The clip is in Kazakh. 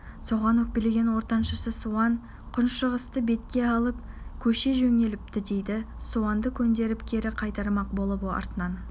соған өкпелеген ортаншысы суан күншығысты бетке алып көше жөнеліпті дейді суанды көндіріп кері қайтармақ болып артынан